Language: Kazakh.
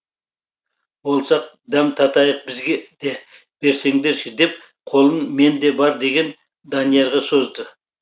болса дәм татайық бізге де берсеңдерші деп қолын менде бар деген даниярға созды